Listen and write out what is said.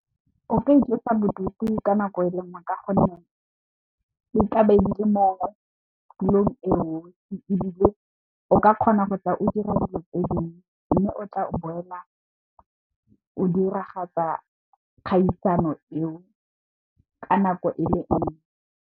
O ka itlosa bodutu ka nako e le nngwe ka gonne, di tla be di le motulong e nngwe ebile, o ka kgona go tla o dira dilo tse dingwe mme, o tla boela o diragatsa kgaisano eo ka nako e le nngwe.